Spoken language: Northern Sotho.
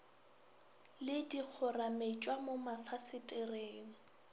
le di kgorametšwa mo mafasetereng